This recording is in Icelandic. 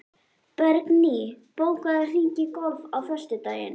Bergný, bókaðu hring í golf á föstudaginn.